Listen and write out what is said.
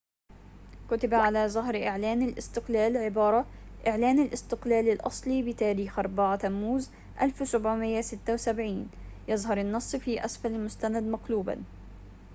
كُتب على ظهر إعلان الاستقلال عبارة إعلان الاستقلال الأصلي بتاريخ 4 تموز 1776 يظهر النص في أسفل المستند مقلوباً